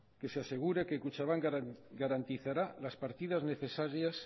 que se asegure que kutxabank garantizará las partidas necesarias